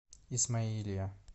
исмаилия